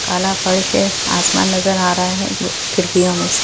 काला फर्श है आसमान नज़र आ रहा है इ खिड़कियों में से।